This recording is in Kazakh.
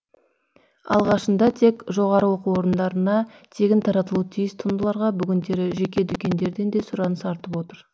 алғашында тек жоғарғы оқу орындарына тегін таратылуы тиіс туындыларға бүгіндері жеке дүкендерден де сұраныс артып отыр